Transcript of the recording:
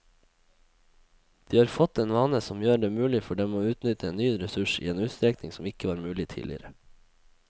De har fått en vane som gjør det mulig for dem å utnytte en ny ressurs i en utstrekning som ikke var mulig tidligere.